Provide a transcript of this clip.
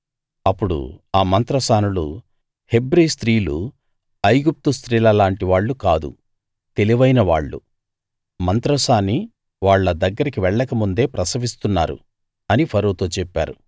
అప్పుడు ఆ మంత్రసానులు హెబ్రీ స్త్రీలు ఐగుప్తు స్త్రీలలాంటి వాళ్ళు కాదు తెలివైనవాళ్ళు మంత్రసాని వాళ్ళ దగ్గరికి వెళ్లకముందే ప్రసవిస్తున్నారు అని ఫరోతో చెప్పారు